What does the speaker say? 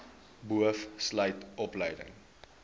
boov sluit opleiding